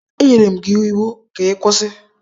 Enyere m gị iwu ka ị kwụsị!